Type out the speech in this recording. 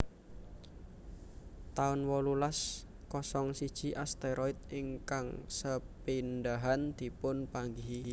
taun wolulas kosong siji Asteroid ingkang sepindhahan dipun panggihi